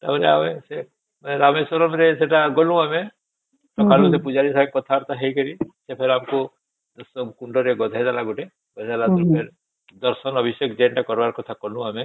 ତାପରେ ଆମେ ସେ ରାମେଶ୍ୱରମ ରେ ସେଟା ଗଲୁ ଆମେ ସକାଳୁ ସେ ପୂଜାରୀ ସଂଗେ କଥା ବାର୍ତ୍ତା ହେଇକରି ସେ ପୁରା ଆମକୁ ସବୁ କୁଣ୍ଡ ରେ ଗାଧେଇ ଦେଲା ଗୋଟେ କହିଲା ଦର୍ଶନ ବି ସେଠି ଯେମିତି କରିବାର ସେମିତି କଲୁ ଆମେ